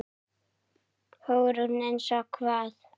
Hugrún: Eins og hvað?